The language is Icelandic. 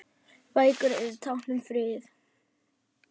Bækur eru tákn um frið